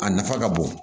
A nafa ka bon